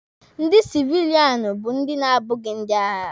Ndị sivilianụ bụ ndị na-abụghị ndị agha.